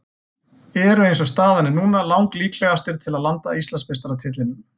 Eru eins og staðan er núna lang líklegastir til að landa Íslandsmeistaratitlinum.